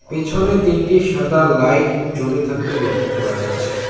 পেছনে তিনটি সাদা লাইট জ্বলে থাকতে লক্ষ করা যাচ্ছে।